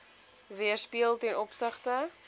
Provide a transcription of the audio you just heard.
weerspieël ten opsigte